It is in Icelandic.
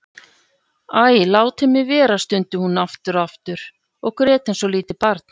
Æ, látið mig vera stundi hún aftur og aftur og grét eins og lítið barn.